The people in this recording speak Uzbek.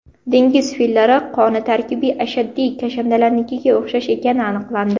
Dengiz fillari qoni tarkibi ashaddiy kashandalarnikiga o‘xshash ekani aniqlandi.